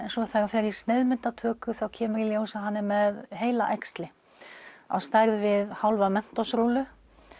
svo þegar hann fer í sneiðmyndatöku þá kemur í ljós að hann er með heilaæxli á stærð við hálfa Mentos rúllu